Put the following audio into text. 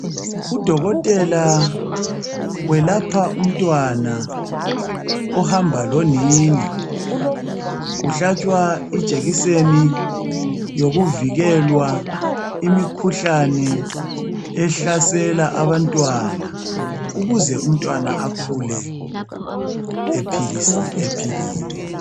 udokotela welapha umntwana ohamba lonina uhlatshwa ijekiseni yokuvikelwa imikhuhlane ehlasela abantwana ukuze umntwana akhule ephilile